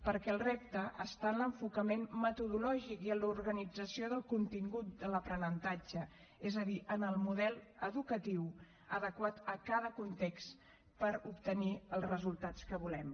perquè el repte està en l’enfocament metodològic i en l’organització del contingut en l’aprenentatge és a dir en el model educatiu adequat a cada context per obtenir els resultats que volem